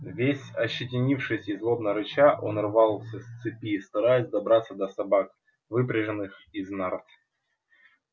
весь ощетинившись и злобно рыча он рвался с цепи стараясь добраться до собак выпряженных из нарт